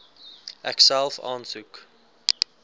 ek self aansoek